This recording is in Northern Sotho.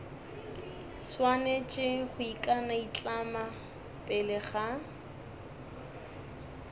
swanetše go ikanaitlama pele ga